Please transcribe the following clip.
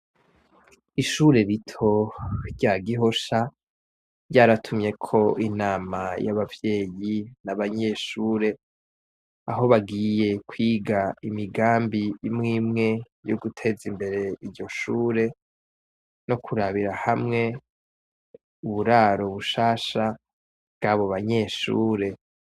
Ishure rito rya gihosha ryaratumyeko inama y'bavyeyi n'abanyeshure, aho bagiye kwiga imigambi imwe imwe yo guteza imber iryo shure no kurabira hamwe uburaro bushasha bwabo banyeshure.